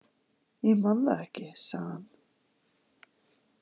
Ég man það ekki, sagði hann.